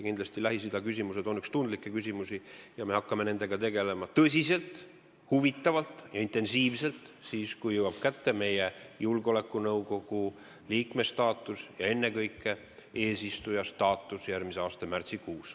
Kindlasti on Lähis-Ida küsimused üks tundlikke teemasid ja me hakkame selle huvitava teemaga tegelema tõsiselt ja intensiivselt, kui jõuab kätte meie julgeolekunõukogu liikme staatus ja ennekõike eesistuja staatus järgmise aasta märtsikuus.